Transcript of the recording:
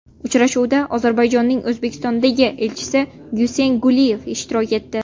Uchrashuvda Ozarbayjonning O‘zbekistondagi elchisi Guseyn Guliyev ishtirok etdi.